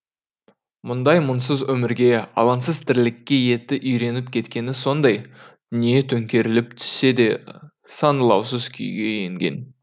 мұндай мұңсыз өмірге алаңсыз тірлікке еті үйреніп кеткені сондай дүние төңкеріліп түссе де саңылаусыз күйге енген